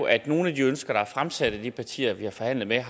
at nogle af de ønsker der er fremsat af de partier vi har forhandlet med